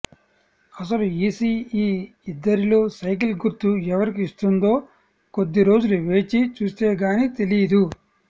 అసలు ఈసీ ఈ ఇద్దరిలో సైకిల్ గుర్తు ఎవరికి ఇస్తుందో కొద్దిరోజులు వేచి చూస్తే కానీ తెలీదు